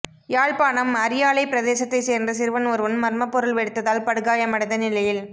யாழ்ப்பாணம் அரியாலைப் பிரதேசத்தைச் சேர்ந்த சிறுவன் ஒருவன் மர்மப் பொருள் வெடித்ததால் படுகாயமடைந்த நிலையில்